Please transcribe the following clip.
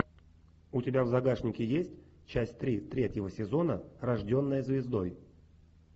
у тебя в загашнике есть часть три третьего сезона рожденная звездой